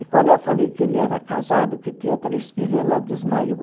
E quando eu falei que ele era casado, que tinha três filhos, ela desmaiou.